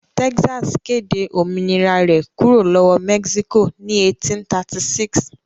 Texas kéde òmìnira rẹ̀ kúrò lọ́wọ́ Mexico ní 1836.